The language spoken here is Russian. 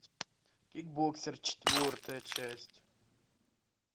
кикбоксер четвертая часть